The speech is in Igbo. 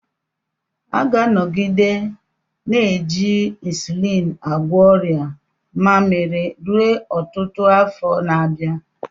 A ga-anọgide na-eji ịnsụlịn agwọ ọrịa mmaamiri ruo ọtụtụ afọ na-abịa.